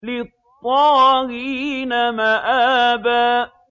لِّلطَّاغِينَ مَآبًا